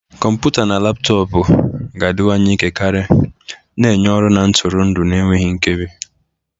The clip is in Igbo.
Kọmputa na laptọọpụ ga-adịwanye ike karị, na-enye ọrụ na ntụrụndụ na-enweghị nkebi.